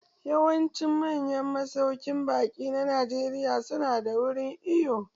Yawancin manyan masauƙin baƙi na Najeriya su nada wurin iwo.